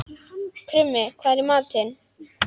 Krummi, hvað er í matinn?